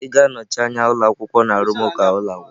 Ị ga-anọchi anya ụlọ akwụkwọ na arụmụka ụlọ akwụkwọ.